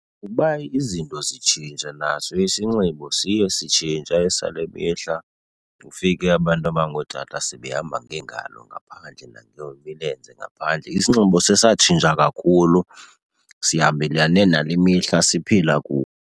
Kuba izinto zitshintsha naso isinxibo siye sitshintsha esale mihla, ufike abantu abangootata sebehamba ngeengalo ngaphandle nangemilenze ngaphandle. Isinxibo sesatshintsha kakhulu, sihambelane nale mihla siphila kuyo.